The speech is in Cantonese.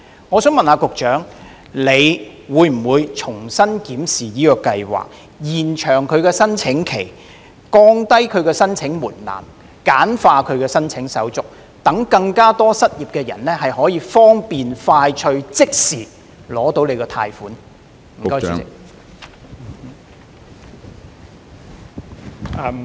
我想問局長會否重新檢視這項計劃，延長計劃的申請期，降低申請門檻及簡化申請手續，讓更多失業人士可以方便快捷地即時獲取計劃的貸款？